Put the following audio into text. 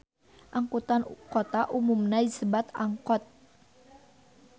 Angkutan kota umumna disebat angkot